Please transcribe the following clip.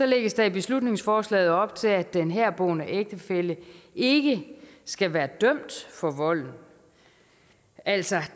lægges der i beslutningsforslaget op til at den herboende ægtefælle ikke skal være dømt for volden altså at